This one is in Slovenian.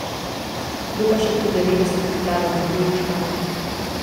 Kdo pa še pri devetdesetih plava metuljčka?